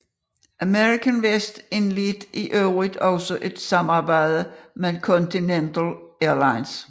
America West indledte i øvrigt også et samarbejde med Continental Airlines